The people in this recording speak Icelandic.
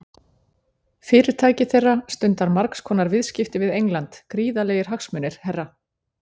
Fyrirtæki þeirra stundar margs konar viðskipti við England, gríðarlegir hagsmunir, herra.